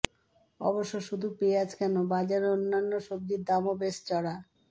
অবশ্য শুধু পেঁয়াজ কেন বাজারে অন্যান্য সবজির দামও বেশ চড়া